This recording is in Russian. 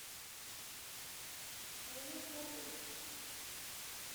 вова фролов